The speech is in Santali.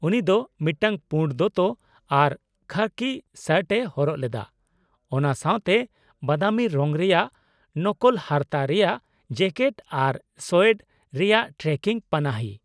-ᱩᱱᱤ ᱫᱚ ᱢᱤᱫᱴᱟᱝ ᱯᱩᱰ ᱫᱚᱛᱚ ᱟᱨ ᱠᱷᱟᱹᱠᱤ ᱥᱚᱨᱴ ᱮ ᱦᱚᱨᱚᱜ ᱞᱮᱫᱟ ,ᱚᱱᱟ ᱥᱟᱶᱛᱮ ᱵᱟᱫᱟᱢᱤ ᱨᱚᱝ ᱨᱮᱭᱟᱜ ᱱᱚᱠᱚᱞ ᱦᱟᱨᱛᱟ ᱨᱮᱭᱟᱜ ᱡᱮᱠᱮᱴ ᱟᱨ ᱥᱳᱭᱮᱰ ᱨᱮᱭᱟᱜ ᱴᱨᱮᱠᱤᱝ ᱯᱟᱱᱟᱦᱤ ᱾